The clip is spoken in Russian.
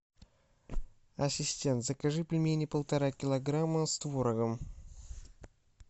ассистент закажи пельмени полтора килограмма с творогом